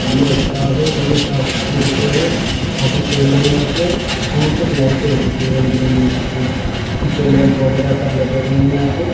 बढ़िया स्टाफ है बढ़िया साफ सुथरी जगह है काफी पेड़ है यहां पे दूर तक लाइटें हो रखी हैं रंग बिरंगी लाइटें ऊंचे लैंप वगैरा सब लगे हुए हैं यहां पे।